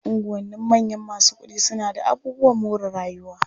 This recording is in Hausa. Unguwannin manyan masu kuɗi suna d aabubuwan more rayuwa.